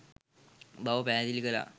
බව පැහැදිලි කළා.